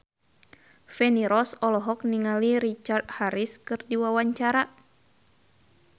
Feni Rose olohok ningali Richard Harris keur diwawancara